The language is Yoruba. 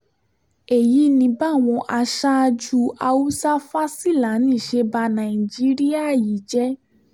èyí ni báwọn aṣáájú haúsá-fásilani ṣe ba nàìjíríà yìí jẹ́